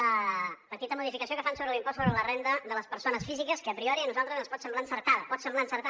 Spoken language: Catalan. la petita modificació que fan sobre l’impost sobre la renda de les persones físiques que a priori a nosaltres ens pot semblar encertada pot semblar encertada